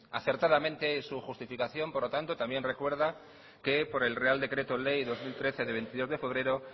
acertadamente su justificación por lo tanto también recuerda que por el real decreto ley dos mil trece de veintidós de febrero